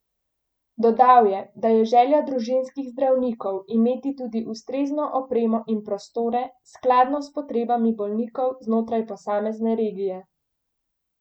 Dodal je, da je želja družinskih zdravnikov imeti tudi ustrezno opremo in prostore skladno s potrebami bolnikov znotraj posamezne regije.